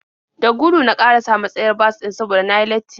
Da gudu na ƙarasa matsayar bas ɗin saboda na yi latti.